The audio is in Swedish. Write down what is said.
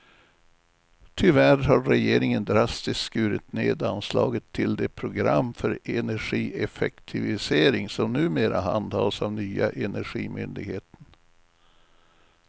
Tyvärr har regeringen drastiskt skurit ned anslaget till det program för energieffektivisering som numera handhas av nya energimyndigheten.